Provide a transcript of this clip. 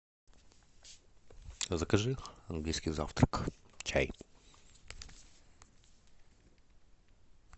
закажи английский завтрак чай